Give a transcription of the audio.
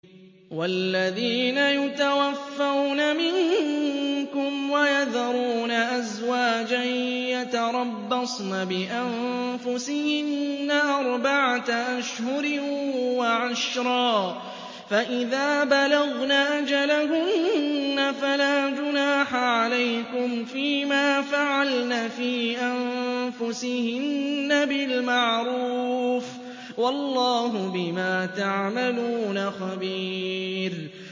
وَالَّذِينَ يُتَوَفَّوْنَ مِنكُمْ وَيَذَرُونَ أَزْوَاجًا يَتَرَبَّصْنَ بِأَنفُسِهِنَّ أَرْبَعَةَ أَشْهُرٍ وَعَشْرًا ۖ فَإِذَا بَلَغْنَ أَجَلَهُنَّ فَلَا جُنَاحَ عَلَيْكُمْ فِيمَا فَعَلْنَ فِي أَنفُسِهِنَّ بِالْمَعْرُوفِ ۗ وَاللَّهُ بِمَا تَعْمَلُونَ خَبِيرٌ